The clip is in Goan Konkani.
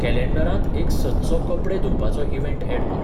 कॅलँडरांत एक सदचो कपडे धुवपाचो इवँट ऍड कर